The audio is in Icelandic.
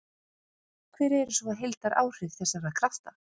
Hver eru svo heildaráhrif þessara krafta?